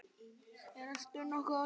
Ertu nokkuð á leið vestur?